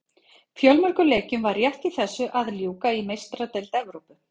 Fjölmörgum leikjum var rétt í þessu að ljúka í Meistaradeild Evrópu.